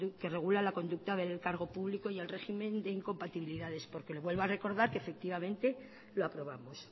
que regula la conducta del cargo público y el régimen de incompatibilidades porque le vuelvo a recordar que efectivamente lo aprobamos